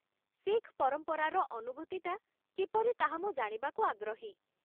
ଶିଖ ପରମ୍ପରାର ଅନୁଭୂତିଟା କିପରି ତାହା ମୁଁ ଜାଣିବାକୁ ଆଗ୍ରହୀ।